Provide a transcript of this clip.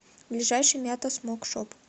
ближайший мята смоук шоп